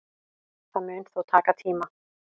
Það mun þó taka tíma